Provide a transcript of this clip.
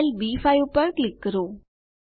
cell બી5 પર click કરો